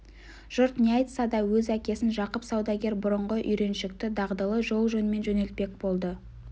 жұрт не айтса да өз әкесін жақып саудагер бұрынғы үйреншікті дағдылы жол-жөнмен жөнелтпек болды